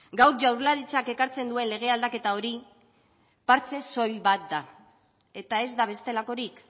gaur jaurlaritzak ekartzen duen lege aldaketa hori partxe soil bat da eta ez da bestelakorik